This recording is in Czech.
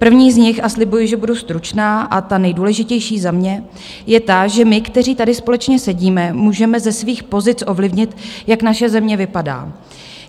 První z nich - a slibuji, že budu stručná - a ta nejdůležitější za mě je ta, že my, kteří tady společně sedíme, můžeme ze svých pozic ovlivnit, jak naše země vypadá.